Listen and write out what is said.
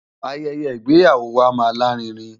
Ayẹyẹ ìgbéyàwó wa máa lárinrin.